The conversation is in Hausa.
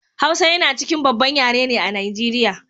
hausa yana cikin babban yare ne a nigeria